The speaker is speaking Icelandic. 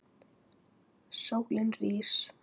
Sólin rís.